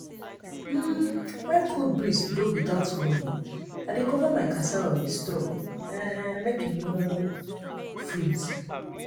when cold breeze blow without warning i dey cover my cassava with straw um make e no um freeze. um